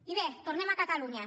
i bé tornem a catalunya